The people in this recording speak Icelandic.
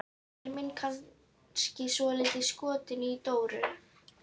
Er minn kannski svolítið skotinn í Dóru il?